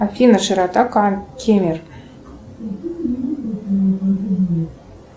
афина широта кемер